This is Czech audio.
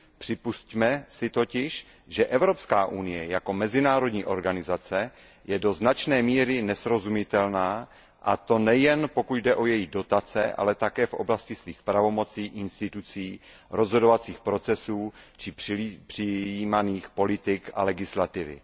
Připusťme si totiž, že Evropská unie jako mezinárodní organizace je do značné míry nesrozumitelná, a to nejen, pokud jde o její dotace, ale také v oblasti svých pravomocí, institucí, rozhodovacích procesů či přijímaných politik a legislativy.